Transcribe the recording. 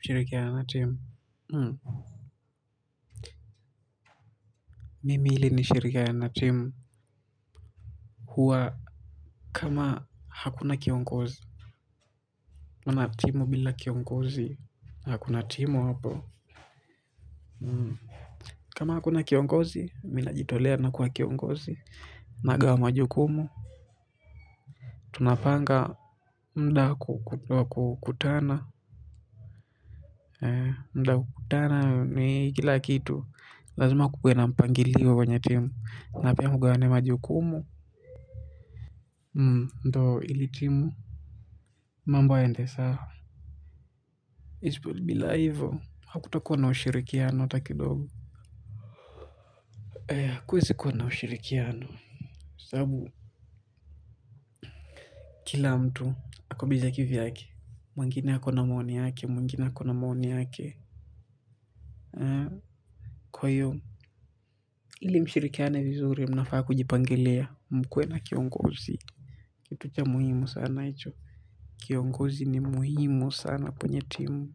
Ushirikiano na timu. Mimi ili nishirikiane na timu. Hua kama hakuna kiongozi mana timu bila kiongozi hakuna timu hapo. Kama hakuna kiongozi mi najitolea nakuwa kiongozi. Nagawa majukumu tunapanga muda wa kukutana mda wa kukutana ni kila kitu. Lazima kukue na mpangilio kwenye timu na pia mgawane majukumu ndio ili timu. Mambo yaende sawa. Bila hivyo hakutakuwa na ushirikiano hata kidogo. Hakuwezi kuwa na ushirikiano. Sababu kila mtu ako bize kivyake. Mwingine ako na maoni yake, mwingine hako na maoni yake. Kwahiyo, ili mshirikiane vizuri mnafaa kujipangelia mkuwe na kiongozi. Kitu cha muhimu sana icho. Kiongozi ni muhimu sana kwenye timu.